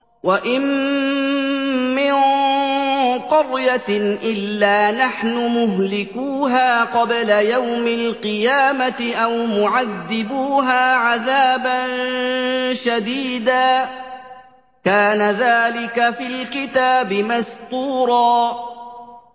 وَإِن مِّن قَرْيَةٍ إِلَّا نَحْنُ مُهْلِكُوهَا قَبْلَ يَوْمِ الْقِيَامَةِ أَوْ مُعَذِّبُوهَا عَذَابًا شَدِيدًا ۚ كَانَ ذَٰلِكَ فِي الْكِتَابِ مَسْطُورًا